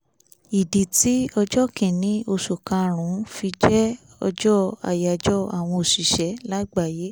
ìdí tí ọjọ́ kìíní oṣù karùn-ún fi jẹ́ ọjọ́ àyájọ́ àwọn òṣìṣẹ́ lágbàáyé